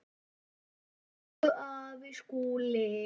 Elsku afi Skúli.